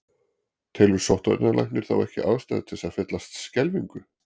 Telur sóttvarnarlæknir þá ekki ástæðu til þess að fyllast skelfingu?